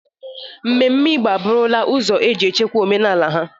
Ememme Igbo a bụrụla ụzọ eji echekwa omenala ha.